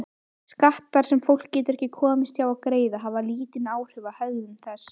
Skattar sem fólk getur ekki komist hjá að greiða hafa lítil áhrif á hegðun þess.